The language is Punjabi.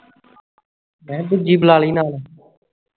ਮੈਂ ਕਿਹਾ ਦੂਜੀ ਬੁਲਾਲਵੀਂ ਨਾਲ